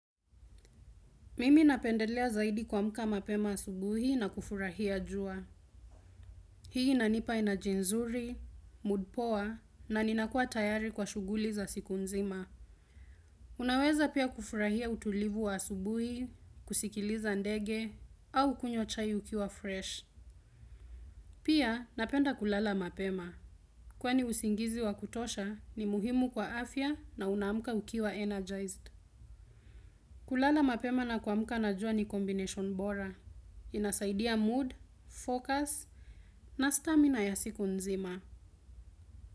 Mimi napendelea zaidi kuamka mapema asubuhi na kufurahia jua. Hii inanipa energy nzuri, mood poa, na ninakuwa tayari kwa shuguli za siku nzima. Unaweza pia kufurahia utulivu wa asubuhi, kusikiliza ndege, au kunywa chai ukiwa fresh. Pia napenda kulala mapema. Kwani usingizi wa kutosha ni muhimu kwa afya na unaamka ukiwa energized. Kulala mapema na kamka na jua ni combination bora. Inasaidia mood, focus na stamina ya siku nzima.